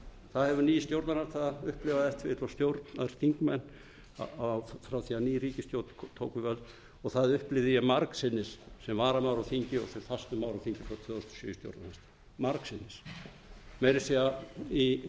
það hefur ný stjórnarandstaða upplifað átt og stjórnarþingmenn frá því að ný ríkisstjórn tók við völdum og það upplifði ég margsinnis sem varamaður á þingi og sem fastur maður á þingi frá tvö þúsund og sjö í stjórnarandstöðu margsinnis meira að segja í